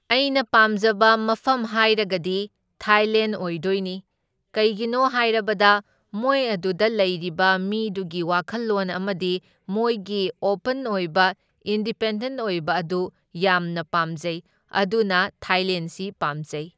ꯑꯩꯅ ꯄꯥꯝꯖꯕ ꯃꯐꯝ ꯍꯥꯏꯔꯒꯗꯤ ꯊꯥꯏꯂꯦꯟ ꯑꯣꯏꯗꯣꯏꯅꯤ, ꯀꯩꯒꯤꯅꯣ ꯍꯥꯏꯔꯕꯗ ꯃꯣꯏ ꯑꯗꯨꯗ ꯂꯩꯔꯤꯕ ꯃꯤꯗꯨꯒꯤ ꯋꯥꯈꯜꯂꯣꯟ ꯑꯃꯗꯤ ꯃꯣꯏꯒꯤ ꯑꯣꯄꯟ ꯑꯣꯏꯕ ꯏꯟꯗꯤꯄꯦꯟꯗꯦꯟꯠ ꯑꯣꯏꯕ ꯑꯗꯨ ꯌꯥꯝꯅ ꯄꯥꯝꯖꯩ, ꯑꯗꯨꯅ ꯊꯥꯏꯂꯦꯟꯁꯤ ꯄꯥꯝꯖꯩ꯫